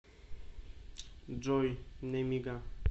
джой немига